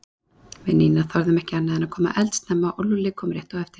Við Nína þorðum ekki annað en að koma eldsnemma og Lúlli kom rétt á eftir